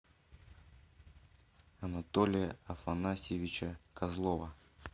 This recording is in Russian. анатолия афанасьевича козлова